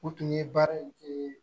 U tun ye baara in